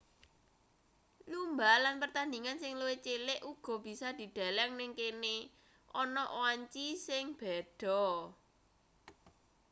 lumba lan pertandhingan sing luwih cilik uga bisa dideleng ning kene ana wanci sing beda